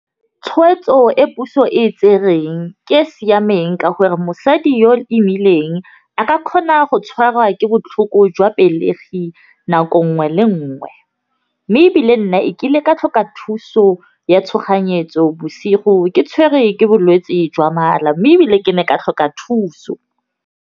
Tshwetso e puso e tsereng ke e e siameng ka gore mosadi yo o imileng a ka kgona go tshwarwa ke botlhoko jwa pelegi nako 'ngwe le 'ngwe. Mme ebile nna e kile ka tlhoka thuso ya tshoganyetso bosigo ke tshwerwe ke bolwetse jwa mala, mme ebile ke ne ka tlhoka thuso.